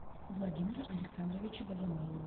владимира александровича богомолова